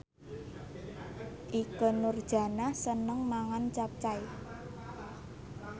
Ikke Nurjanah seneng mangan capcay